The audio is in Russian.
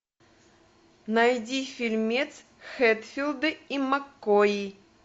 найди фильмец хэтфилды и маккои